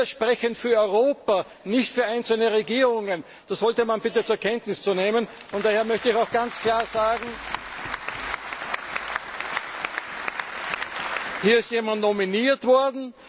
Wir sprechen für Europa, nicht für einzelne Regierungen! Das sollte man bitte zur Kenntnis nehmen. Daher möchte ich auch ganz klar sagen Hier ist jemand nominiert worden.